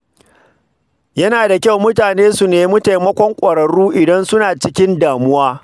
Yana da kyau mutane su nemi taimakon ƙwararru idan suna cikin damuwa.